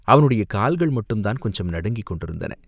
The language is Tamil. அவனுடைய கால்கள் மட்டும் கொஞ்சம் நடுங்கிக் கொண்டிருந்தன.